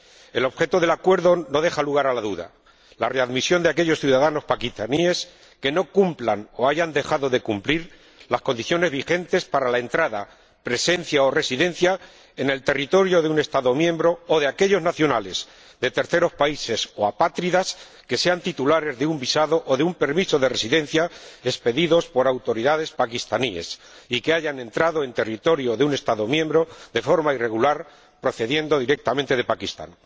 El objeto del acuerdo no deja lugar a dudas la readmisión de aquellos ciudadanos pakistaníes que no cumplan o hayan dejado de cumplir las condiciones vigentes para la entrada, presencia o residencia en el territorio de un Estado miembro, o de aquellos nacionales de terceros países o apátridas que sean titulares de un visado o de un permiso de residencia expedidos por autoridades pakistaníes y que hayan entrado en territorio de un Estado miembro de forma irregular procediendo directamente de Pakistán.